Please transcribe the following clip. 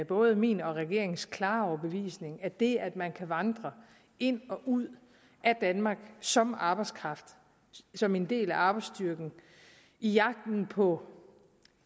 både min og regeringens klare overbevisning at det at man kan vandre ind og ud af danmark som arbejdskraft som en del af arbejdsstyrken i jagten på